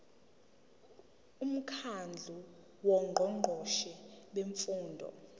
umkhandlu wongqongqoshe bemfundo